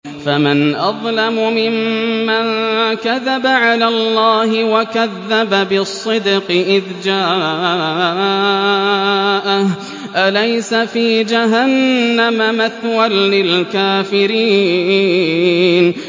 ۞ فَمَنْ أَظْلَمُ مِمَّن كَذَبَ عَلَى اللَّهِ وَكَذَّبَ بِالصِّدْقِ إِذْ جَاءَهُ ۚ أَلَيْسَ فِي جَهَنَّمَ مَثْوًى لِّلْكَافِرِينَ